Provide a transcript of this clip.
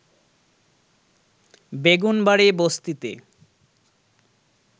বেগুনবাড়ী বস্তিতে